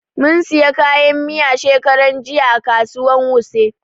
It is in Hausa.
Mun siyo kayan miya shekaran jiya a kasuwan wuse